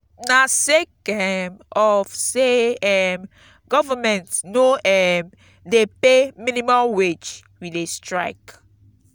na sake um of say um government no um dey pay minimum wage we dey strike.